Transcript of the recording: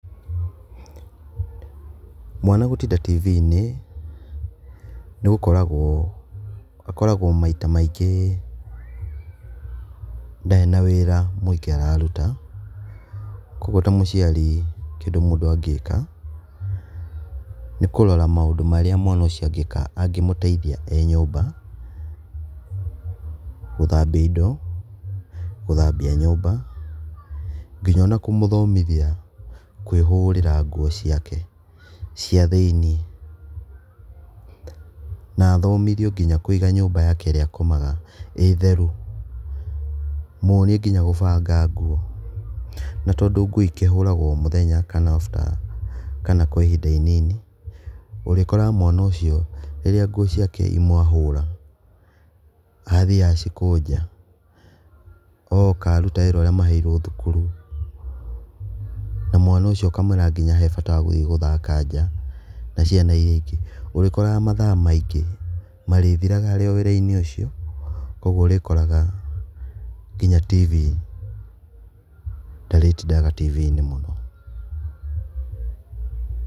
Mwana gũtinda tibi-inĩ akoragwo maita maingĩ ndarĩ na wĩra mũingĩ araruta, koguo ta mũciari kĩndũ mũndũ angĩka nĩkũrora maũndũ marĩa mwana ũcio angĩka angĩmũteithia e nyũmba gũthambia indo, gũthambia nyũmba nginya kũmũthomithia kwĩhũrĩra nguo ciake cia thĩinĩ, na athomithio nginya kũiga nyũmba yake ĩrĩa akomaga ĩtheru, muonie nginya kũbanga nguo. Na tondũ nguo ikĩhũragwo o mũthenya kana kwa ihinda inini ũrĩkoraga mwana ũcio rĩrĩa nguo ciake imwe ahũra athie acikũnja oka aruta wĩra ũrĩa maheirwo thukuru na mwana ũcio ũkamwĩra hee bata wa gũthie gũthaka nja na ciana iria ingĩ ũrĩkoraga mathaa maingĩ marĩthiraga arĩ o wĩrainĩ ũcio koguo ũrĩkoraga nginya tibi ndarĩtindaga tibii mũno.